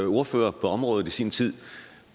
ordfører på området i sin tid